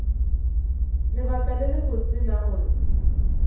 lebaka le lebotse la gore